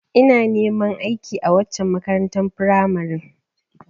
Ina neman aiki a waccen makarantar firamaren